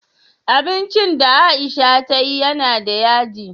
Abincin da aisha tayi yana da yaji?